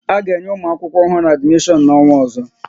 A ga-enye ụmụ akwụkwọ ọhụrụ adimishon n'ọnwa ozo?